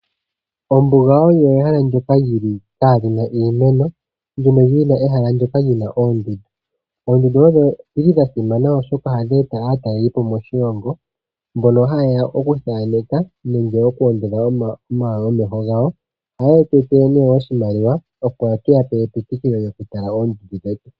Ombuga olyo ehala ndyoka kaalina iimeno mono muna ehalandono lina oondundu. Oondundu odha simana oshoka ohadhi eta aatalelipo moshilongo mbono hayeya ikuthaaneka nenge ikwoondodha omeho gawo. Ohaye tu etele oshimaliwa opo tuyape epitikulo lyoku tala oondundu.